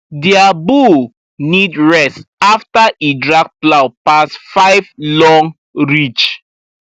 their bull need rest after e drag plow pass five long ridge